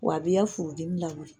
Wa a b'i ya furudimi lawuli.